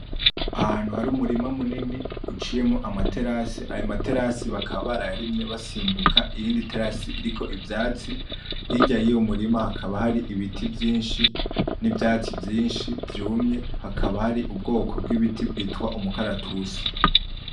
Ahantu hari umurima munini uciyemwo ama terasi, ayo ma terasi bakaba barayarimye basimbuka iyindi terasi iriko ivyatsi, hirya yuwo murima hakaba hari ibiti vyinshi n'ivyatsi vyinshi vyumye hakaba hari ubwoko bw'ibiti bwitwa imikaratusi.